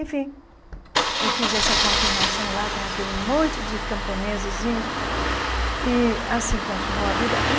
Enfim, eu fiz essa confirmação lá com aquele monte de camponesesinhos e assim continuou a vida.